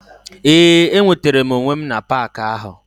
Ee enwetara m onwe m na park ahụ.